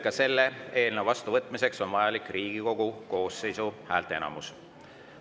Ka selle eelnõu vastuvõtmiseks on vajalik Riigikogu koosseisu häälteenamus.